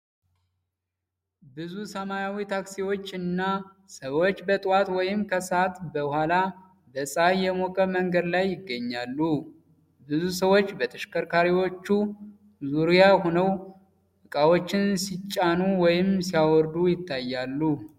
ብዙ ሰማያዊ ታክሲዎች እና ሰዎች በጠዋት ወይም ከሰዓት በኋላ በፀሐይ የሞቀ መንገድ ላይ ይገኛሉ። ብዙ ሰዎች በተሽከርካሪዎቹ ዙሪያ ሆነው ዕቃዎችን ሲጫኑ ወይም ሲያወርዱ ይታያሉ።